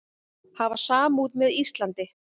Hafa samúð með Íslandi